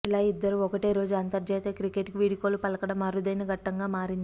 ఇలా ఇద్దరు ఒకటే రోజు అంతర్జాతీయ క్రికెట్కు వీడ్కోలు పలకడం అరుదైన ఘట్టంగా మారింది